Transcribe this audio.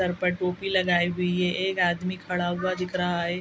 Sir पर टोपी लगायी हुई है एक आदमी खड़ा हुआ दिख रहा है।